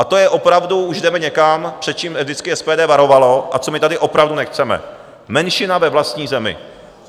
A to je opravdu - už jdeme někam, před čím vždycky SPD varovalo a co my tady opravdu nechceme, menšina ve vlastní zemi.